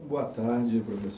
Boa tarde, professor